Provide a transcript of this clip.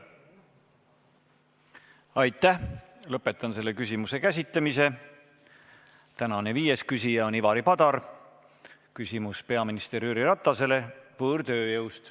Tänane viies küsija on Ivari Padar, küsimus on peaminister Jüri Ratasele võõrtööjõu kohta.